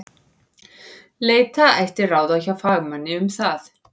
Leita ætti ráða hjá fagmanni um það.